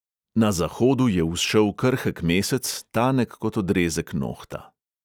Na zahodu je vzšel krhek mesec, tanek kot odrezek nohta.